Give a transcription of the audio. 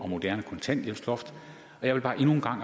moderne kontanthjælpsloft og jeg vil bare endnu en gang